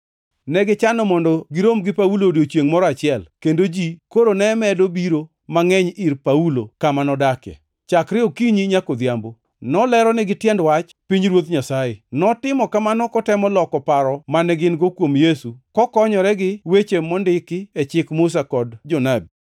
Negichano mondo girom gi Paulo odiechiengʼ moro achiel, kendo ji koro ne medo biro mangʼeny ir Paulo kama nodakie. Chakre okinyi nyaka odhiambo, noleronigi tiend wach pinyruoth Nyasaye. Notimo kamano kotemo loko paro mane gin-go kuom Yesu, kokonyore gi weche mondiki e Chik Musa kod jonabi.